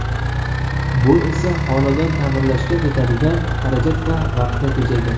Bu esa xonadon ta’mirlashga ketadigan xarajat va vaqtni tejaydi.